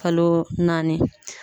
Kalo naani.